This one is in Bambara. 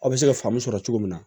Aw bɛ se ka faamu sɔrɔ cogo min na